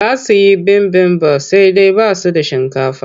Za su yi bibimbaf sai dai ba su da shinkafa.